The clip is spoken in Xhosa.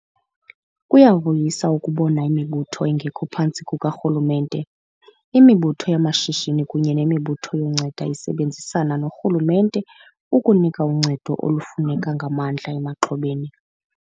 Kuyavuyisa ukubona imibutho engekho phantsi kukarhulumente, imibutho yamashishini kunye nemibutho yoncedo isebenzisana norhulumente ukunika uncedo olufuneka ngamandla emaxhobeni.